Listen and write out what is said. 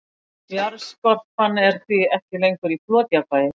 Jarðskorpan er því ekki lengur í flotjafnvægi.